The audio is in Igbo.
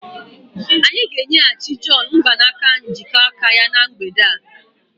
Anyị ga-enyeghachi John mgbanaka njikọ aka ya na mgbede a.